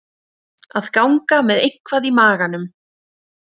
Að ganga með eitthvað í maganum